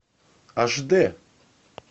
аш д